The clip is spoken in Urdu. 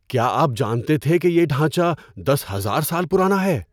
کیا آپ جانتے تھے کہ یہ ڈھانچہ دس ہزار سال پرانا ہے؟